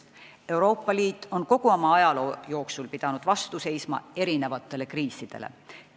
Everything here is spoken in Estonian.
Euroopa Liit on kogu oma ajaloo jooksul pidanud vastu seisma mitmesugustele kriisidele.